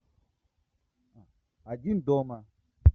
один дома